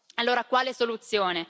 Allora quale soluzione?